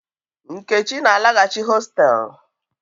Nkechi na-alaghachi hostelu.